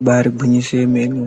Ibari gwinyiso yemene